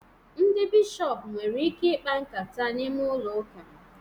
Ndị bishọpu nwere ike ikpa nkata n'ime ụlọ uka